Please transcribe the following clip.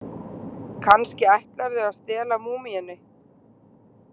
Kannski ætlarðu að stela múmíunni?